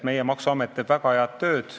Meie maksuamet teeb väga head tööd.